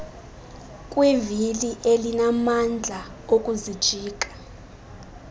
kwivili elinamandla okuzijika